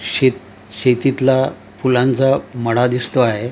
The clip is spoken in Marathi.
शेत शेतीतला फुलांचा मळा दिसतो आहे.